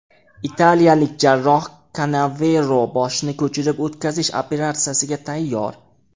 Italiyalik jarroh Kanavero boshni ko‘chirib o‘tkazish operatsiyasiga tayyor.